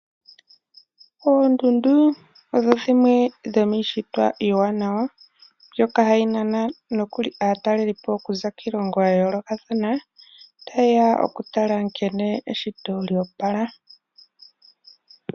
Oondundu odho dhimwe dhomiishitwa yasimana yo iiwanawa. Ohashi nana aataleli po yaza kiilongo yoko kule, opo ya tale nkene eshito lya wapala.